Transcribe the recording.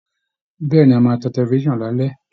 Bẹ́ẹ̀ ni, a máa tan tẹlifisan lálẹ́